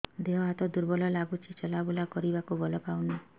ଦେହ ହାତ ଦୁର୍ବଳ ଲାଗୁଛି ଚଲାବୁଲା କରିବାକୁ ବଳ ପାଉନି